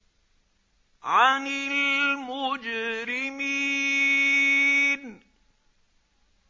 عَنِ الْمُجْرِمِينَ